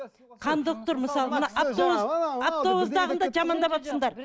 кондуктор мысалы мына автобустағыны да жамандап отырсыңдар